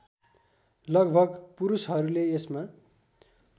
लगभग पुरुषहरूले यसमा